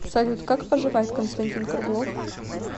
салют как поживает константин круглов